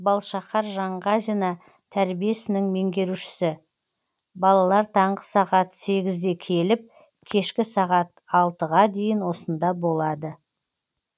балшақар жаңғазина тәрбие ісінің меңгерушісі балалар таңғы сағат сегізде келіп кешкі сағат алтыға дейін осында болады